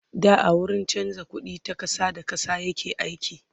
da a wurin chanza ƙuɗi ta ƙasa da ƙasa yake aiki